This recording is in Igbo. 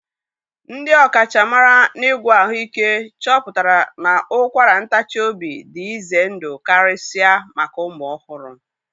Ndị ọkachamara n'ịgwọ ahụike chọpụtara na ụkwara ntachi obi dị ize ndụ karịsịa maka ụmụ ọhụrụ